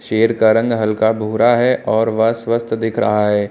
शेर का रंग हल्का भूरा है और वह स्वस्थ दिख रहा है।